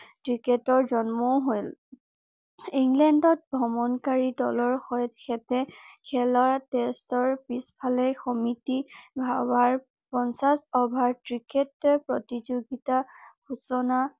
ক্ৰিকেটৰ জন্মও হল ইংলেণ্ডত ভ্ৰমণ কাৰী দলৰ খেলৰ টেষ্টৰ পিছফালে সমিটি পঞ্চাশ অভাৰ ক্ৰিকেট প্ৰতিযোগিতা সূচনা